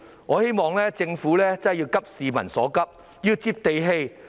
我希望政府真的要急市民所急，要"接地氣"。